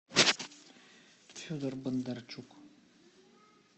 федор бондарчук